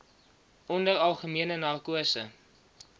onder algemene narkose